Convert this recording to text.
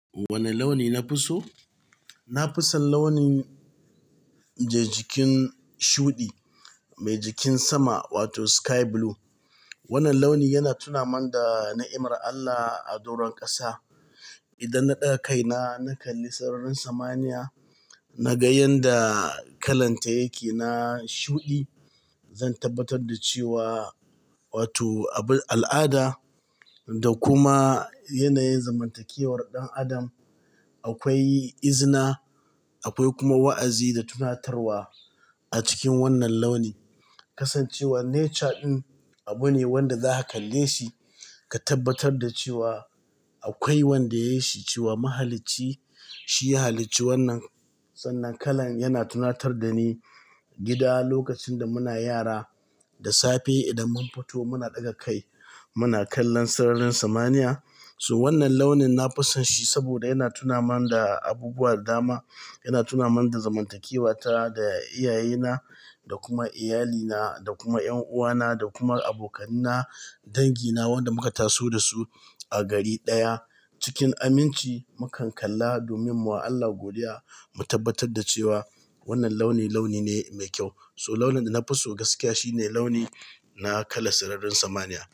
Wane launi na fi so? Na fi son launin jajikin shuɗi, mai jikin sama wato sky blue. Wannan launi yana tunaman da na'imar Allah a doron ƙasa. Idan na ɗaga kaina na kalli sararin samaniya, na ga yanda kalan ta yake na shuɗi. Zan tabbatar da cewa wato abu al'ada da kuma yanayin zamantakewar ɗan adam, akwai izina, akwai kuma wa'azi da tunatarwa a cikin wannan launi. Kasan cewa nature ɗin abu ne wanda zaka kalle shi ka tabbatar da cewa akwai wanda ya yi shi, cewa mahalici shi ya halicci wannan. Sannan kalan yana tunatar da ni gida lokacin da muna yara, da safe idan mun fito muna ɗaga kai muna kallon sararin samaniya. To wannan launin na fusanshi saboda yana tunaman da abubuwa dama, yana tunaman da zamantakewa ta da iyayena da kuma iyalina da kuma ƴanuwana da kuma abokanina, dangi na wanda muka taso da su a gari ɗaya cikin aminci. Mukan kalla domin mu wa Allah godiya mu tabbatar da cewa wannan launi launi ne mai kyau. So launin da na fi so gaskiya shine launi na kalan sararin samaniya.